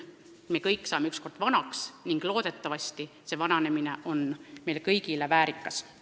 Me kõik saame ükskord vanaks ning loodetavasti on vananemine meil kõigil väärikas.